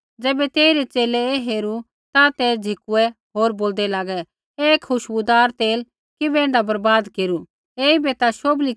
ज़ैबै तेइरै च़ेले ऐ हेरू ता ते झ़िकुऐ होर बोलदै लागै ऐ खुशबूदार तेल किबै ऐण्ढा बर्बाद केरू